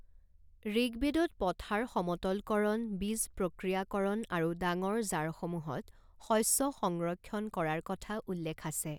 ঋকবেদত পথাৰ সমতলকৰণ, বীজ প্ৰক্ৰিয়াকৰণ আৰু ডাঙৰ জাৰসমূহত শস্য সংৰক্ষণ কৰাৰ কথা উল্লেখ আছে।